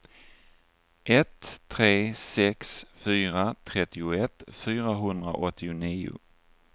ett tre sex fyra trettioett fyrahundraåttionio